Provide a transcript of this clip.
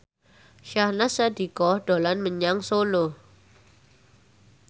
Syahnaz Sadiqah dolan menyang Solo